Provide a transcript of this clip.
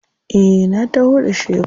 Eh na taho da shebur.